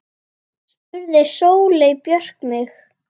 spurði Sóley Björk mig.